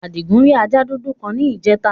Àdìgún rì àja dúdú kan ní ìjẹtà.